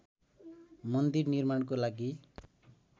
मन्दिर निर्माणको लागि